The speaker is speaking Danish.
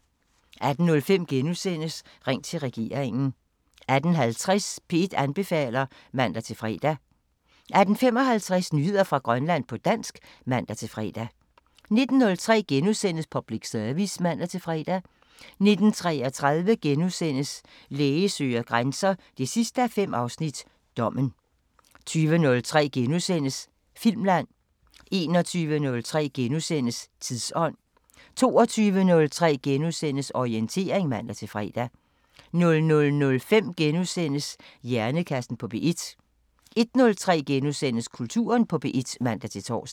18:05: Ring til regeringen * 18:50: P1 anbefaler (man-fre) 18:55: Nyheder fra Grønland på dansk (man-fre) 19:03: Public Service *(man-fre) 19:33: Læge søger grænser 5:5 – Dommen * 20:03: Filmland * 21:03: Tidsånd * 22:03: Orientering *(man-fre) 00:05: Hjernekassen på P1 * 01:03: Kulturen på P1 *(man-tor)